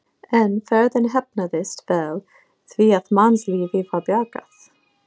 En ferðin heppnaðist vel því að mannslífi var bjargað.